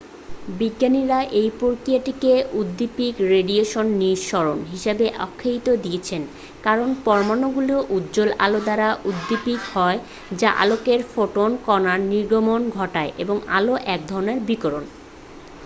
"বিজ্ঞানীরা এই প্রক্রিয়াটিকে "উদ্দীপিত রেডিয়েশন নিঃসরণ" হিসাবে আখ্যা দিয়েছেন কারণ পরমাণুগুলি উজ্জ্বল আলো দ্বারা উদ্দীপিত হয় যা আলোকের ফোটন কণার নির্গমন ঘটায় এবং আলো এক ধরণের বিকিরণ।